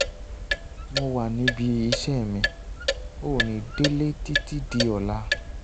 mo wa nibi ise mi, o ni dele titi di ola